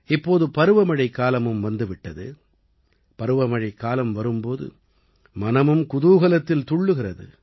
இப்போது பருவமழைக்காலமும் வந்து விட்டது பருவமழைக்காலம் வரும் போது மனமும் குதூகலத்தில் துள்ளுகிறது